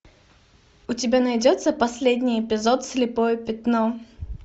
у тебя найдется последний эпизод слепое пятно